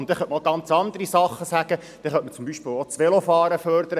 man könnte ja auch noch ganz andere Dinge erwähnen und zum Beispiel das Velofahren fördern.